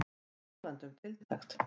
Og talandi um tiltekt.